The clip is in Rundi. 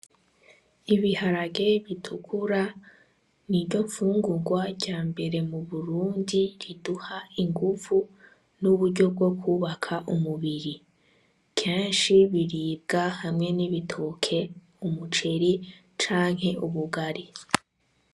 Ibiharage bitukura niryo nfungurwa yambere mu Burundi riduha inguvu n'uburyo bwokwubaka umubiri, kenshi riribwa hamwe n'igitoke ,umuceri canke ubugari.